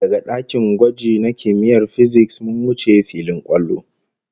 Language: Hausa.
Daga dakin gwaji na kimiyyar fisiks, mun wuce filin kwallo